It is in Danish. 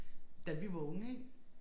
Da vi var unge ik